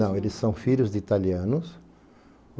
Não, eles são filhos de italianos.